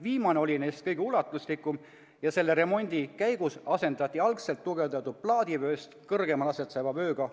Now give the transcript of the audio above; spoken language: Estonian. Viimane oli neist kõige ulatuslikum ja selle remondi käigus asendati algselt tugevdatud plaadivööst kõrgemal asetsev vöö uuega.